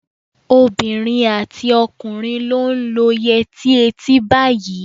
Obìnrin àti ọkùnrin ló ń lo yẹrí etí báyìí.